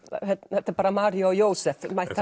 þetta eru bara María og Jósef mætt